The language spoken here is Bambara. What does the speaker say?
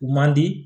U man di